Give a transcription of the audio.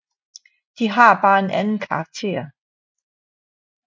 De har bare en anden karakter